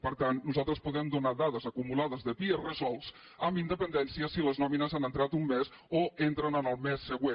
per tant nosaltres podem donar dades acumulades de pia resolts amb independència si les nòmines han entrat un mes o entren en el mes següent